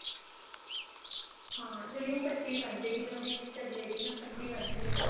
ਹਾਂ ਜਾਣੀ ਉਹ ਪੱਟੀ ਬਣਜੇਗੀ ਨਾ ਉਹਦੀ ਚਬਲੇ ਦੀ ਹਨਾ ਪੱਟੀ ਬਣ ਜਾਣੀ ਏ ਉਹਦੀ